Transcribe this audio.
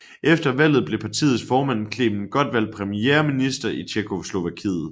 Efter valget blev partiets formand Klement Gottwald premierminiter i Tjekkoslovakiet